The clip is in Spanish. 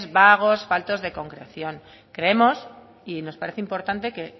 vagos faltos de concreción creemos y nos parece importante